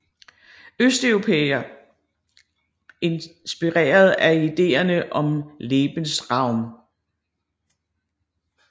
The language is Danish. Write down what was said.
Østeuropa inspireret af ideerne om Lebensraum